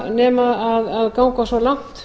nema að ganga svo langt